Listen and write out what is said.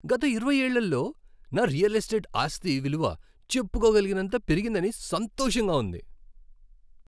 గత ఇరవై ఏళ్ళలో నా రియల్ ఎస్టేట్ ఆస్తి విలువ చెప్పుకోగలిగినంత పెరిగిందని సంతోషంగా ఉంది.